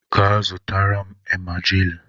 Gaa, zụtara m emajili